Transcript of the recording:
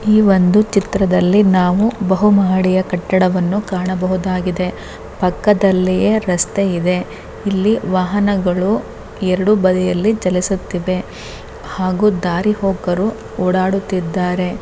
ಈ ಒಂದು ಚಿತ್ರದಲ್ಲಿ ನಾವು ಬಹುಮಹಡಿಯ ಕಟ್ಟಡವನ್ನು ಕಾಣಬಹುದಾಗಿದೆ. ಪಕ್ಕದಲಿಯೇ ರಸ್ತೆ ಇದೆ. ಇಲ್ಲಿ ವಾಹನಗಳು ಎರಡು ಬದಿಯಲ್ಲಿ ಚಲಿಸುತ್ತಿವೆ ಹಾಗೂ ದಾರಿಹೋಕರು ಓಡಾಡುತ್ತಿದಾರೆ.